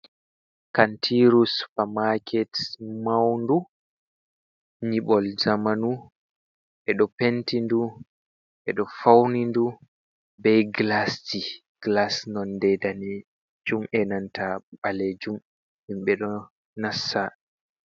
Kantiiru supamaaket mawndu, nyiɓol zamanu, ɓe ɗo penti ndu, ɓe ɗo fawni ndu be gilasji, gilas nonde daneejum e nanta ɓaleejum, himɓe ɗo nasta.